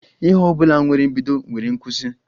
Ihe ọbụla nwere mbido nwere nkwụsi